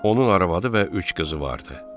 Onun arvadı və üç qızı vardı.